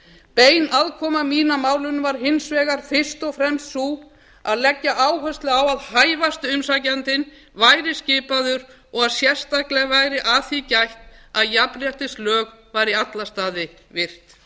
bein aðkoma mín að málinu var hins vegar fyrst og fremst sú að leggja áherslu á að hæfasti umsækjandinn yrði skipaður og að sérstaklega væri að því gætt að jafnréttislög yrðu í alla staði virt